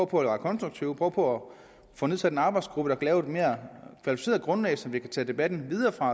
på at være konstruktive og prøver på at få nedsat en arbejdsgruppe der lave et mere kvalificeret grundlag så vi kan tage debatten videre